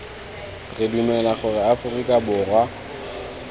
re dumela gore aforika borwa